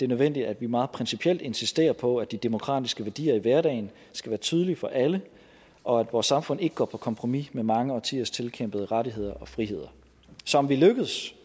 nødvendigt at vi meget principielt insisterer på at de demokratiske værdier i hverdagen skal være tydelige for alle og at vores samfund ikke går på kompromis med mange årtiers tilkæmpede rettigheder og friheder så om vi lykkedes